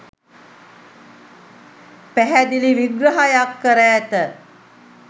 පැහැදිලි විග්‍රහයක් කර ඇත.